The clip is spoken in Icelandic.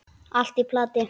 Allt í plati!